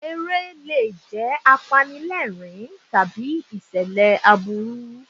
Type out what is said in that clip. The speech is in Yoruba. Eré lè jẹ́ apanilẹ́rìn-ín tàbí ìṣẹ̀lẹ̀ aburú.